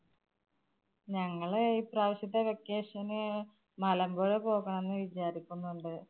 ഞങ്ങള് ഇപ്രാവശ്യത്തെ vacation നു മലമ്പുഴ പോകാം എന്ന് വിചാരിക്കുന്നുണ്ട്.